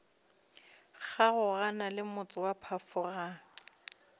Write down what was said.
kgaogana le motse wa phafogang